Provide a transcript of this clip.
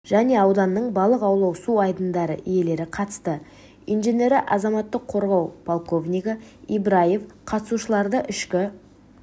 және ауданның балық аулау су айдындары иелері қатысты инженері азаматтық қорғау подполковнигі ибраев қатысушыларды ішкі